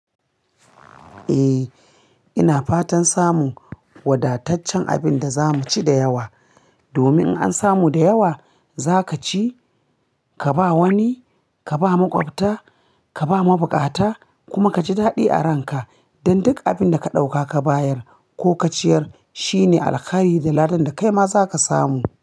Eh, ina fatan samun wadataccen abin da za mu ci da yawa. Domin in an samu da yawa, za ka ci, ka ba wani, ka ba maƙwabta, ka ba mabukata, kuma ka ji daɗi a ranka. Dan duk abin da ka ɗauka ka bayar ko ka ciyar, shine alkhairi da ladan da kai ma za ka samu.